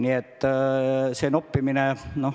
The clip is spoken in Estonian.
Selline noppimine.